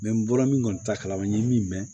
n bɔra min kɔni t'a kalama n ye min mɛn